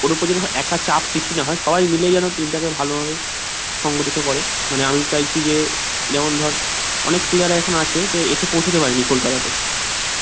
ওর উপরে যেন একার চাপ সৃষ্টি না হয় সবাই মিলে যেন team টাকে ভালো ভাবে সংগঠিত করে মানে আমি চাইছি যে যেমন ধর অনেক player রা এখন আছে যে এসে পৌঁছেই সব landing কোলকাতা তে